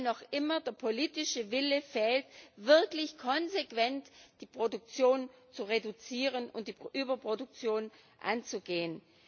Weil noch immer der politische Wille fehlt, wirklich konsequent die Produktion zu reduzieren und die Überproduktion anzugehen.